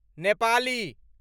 Nepali